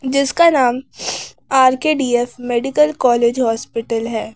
जिसका नाम R K D F medical college hospital है।